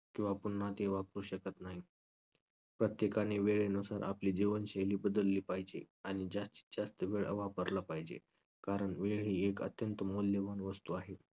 किंवा पुन्हा ती वापरू शकत नाही. प्रत्येकानी वेळेनुसार आपली जीवनशैली बदलली पाहिजे आणि जास्तीतजास्त वेळ हा वापरला पाहिजे कारण वेळ ही एक अत्यंत मौल्यवान वस्तू आहे.